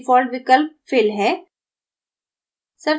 default विकल्प fill है